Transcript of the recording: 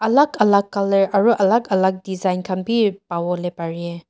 alag alag color aro alag alag design khan bi pawole pare.